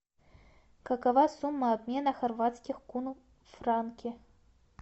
какова сумма обмена хорватских кунов в франки